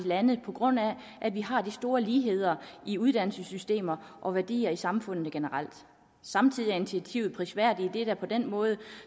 lande på grund af at vi har de store ligheder i uddannelsessystemer og værdier i samfundet generelt samtidig er initiativet prisværdigt idet det på den måde